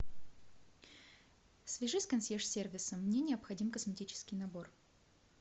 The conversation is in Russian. свяжись с консьерж сервисом мне необходим косметический набор